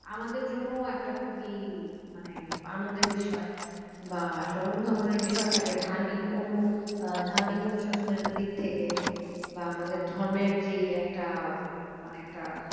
আমাদের জন্যও একটা খুবই মানে আনন্দের বিষয় বা একটা অনুধাবনের বিষয় থাকে ধার্মিক অনু আহ ধার্মিক অনুশাসনের দিক থেকে বা আমাদের ধর্মের যেই একটা মানে একটা